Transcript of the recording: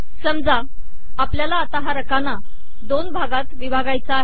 समजा आपल्याला आता हा रकाना दोन भागांत विभागायचा आहे